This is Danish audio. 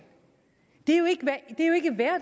det